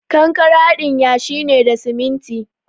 Kankare haɗin yashi ne da siminti.